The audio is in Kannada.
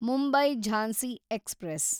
ಮುಂಬೈ ಝಾನ್ಸಿ ಎಕ್ಸ್‌ಪ್ರೆಸ್